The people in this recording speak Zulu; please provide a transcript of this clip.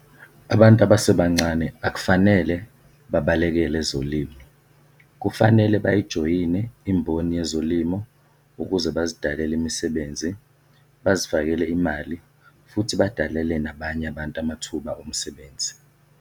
Abantu abasebancane akufanele babalekele ezolimo, kufanele bayijoyine imboni yezolimo ukuze bazidalele imisebenzi, bazifakele imali futhi badalele nabanye abantu amathuba omsebenzi.